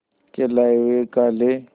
के लाए हुए काले